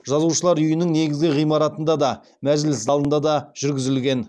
жазушылар үйінің негізгі ғимаратында да мәжіліс залында да жүргізілген